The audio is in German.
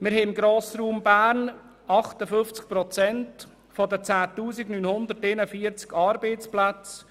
Wir haben im Grossraum Bern 58 Prozent der 10 941 Arbeitsplätze.